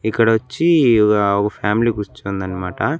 ఇక్కడ వచ్చి ఒక ఒక ఫ్యామిలీ కూర్చుంది అన్నమాట.